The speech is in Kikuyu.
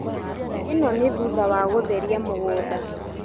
ĩno nĩ thutha wa gũtheria mũgũnda